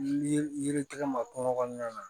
Yiri yiritigɛ ma kungo kɔnɔna na